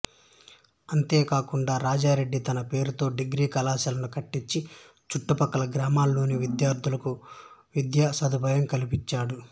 అంతేకాకుండా రాజారెడ్డి తన పేరుతో డిగ్రీ కళాశాలను కట్టించి చుట్టు ప్రక్కల గ్రామాల్లోని విద్యార్థులకు విద్యా సదుపాయం కల్పించాడు